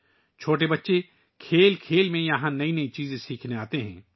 چھوٹے بچے یہاں کھیلتے ہوئے نئی چیزیں سیکھنے آتے ہیں